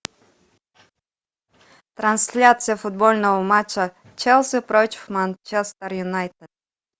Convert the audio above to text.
трансляция футбольного матча челси против манчестер юнайтед